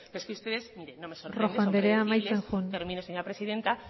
pero es que ustedes mire no me rojo andrea amaitzen joan termino señora presidenta